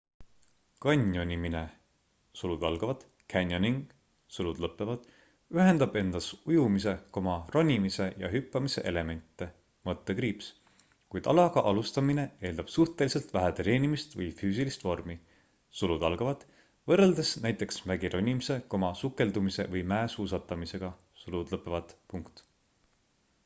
kanjonimine canyoning ühendab endas ujumise ronimise ja hüppamise elemente — kuid alaga alustamine eeldab suhteliselt vähe treenimist või füüsilist vormi võrreldes näiteks mägironimise sukeldumise või mäesuusatamisega